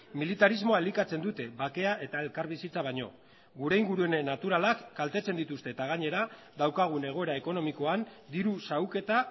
militarismoa elikatzen dute bakea eta elkarbizitza baino gure ingurune naturalak kaltetzen dituzte eta gainera daukagun egoera ekonomikoan diru xahuketa